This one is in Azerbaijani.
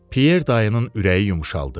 Pyer dayının ürəyi yumşaldı.